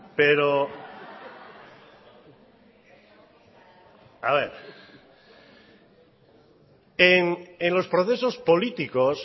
pero a ver en los procesos políticos